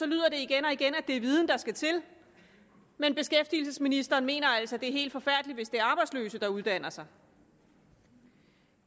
lyder det igen og igen at det er viden der skal til men beskæftigelsesministeren mener altså at det er helt forfærdeligt hvis det er arbejdsløse der uddanner sig